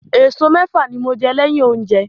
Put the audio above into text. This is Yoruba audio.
Eso mẹ́fà ni mo jẹ́ lẹ́yìn oúnjẹ.